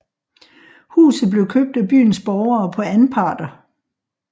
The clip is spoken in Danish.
Huset blev købt af byens borgere på anparter